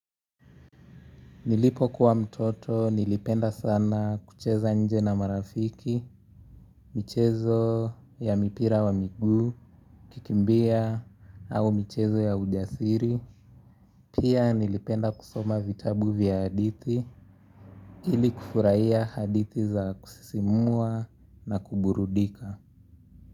Nilipokuwa mtoto nilipenda sana kucheza nje na marafiki, michezo ya mipira wa miguu, kukimbia au michezo ya ujasiri. Pia nilipenda kusoma vitabu vya hadithi ili kufurahia hadithi za kusisimua na kuburudika.